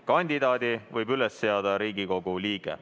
Kandidaadi võib üles seada Riigikogu liige.